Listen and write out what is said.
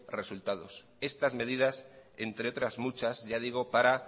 resultados estas medidas entre otras muchas ya digo para